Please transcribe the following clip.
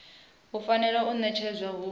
i fanela u ṋetshedzwa hu